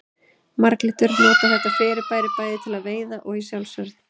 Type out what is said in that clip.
Marglyttur nota þetta fyrirbæri bæði til veiða og í sjálfsvörn.